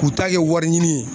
K'u ta kɛ wariɲini ye